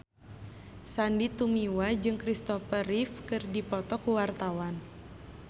Sandy Tumiwa jeung Kristopher Reeve keur dipoto ku wartawan